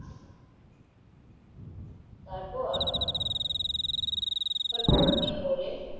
তারপর তার বড়ো মেয়ে বলে